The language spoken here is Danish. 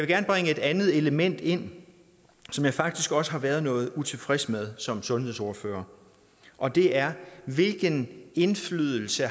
gerne bringe et andet element ind som jeg faktisk også har været noget utilfreds med som sundhedsordfører og det er hvilken indflydelse